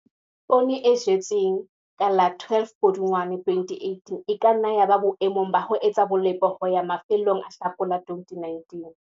Poone e jetsweng ka la 12 Pudungwana 2018 e ka nna ya ba boemong ba ho etsa bolepo ho ya mafelong a Hlakola 2019.